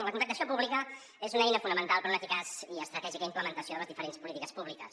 la contractació pública és una eina fonamental per a una eficaç i estratègica implementació de les diferents polítiques públiques